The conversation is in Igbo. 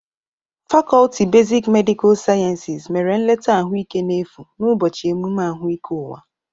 Fakọlti besik medịkal siayensis mere nleta ahụ ike n'efu n'ụbọchị emume ahụike ụwa.